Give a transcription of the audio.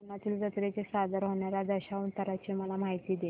कोकणातील जत्रेत सादर होणार्या दशावताराची मला माहिती दे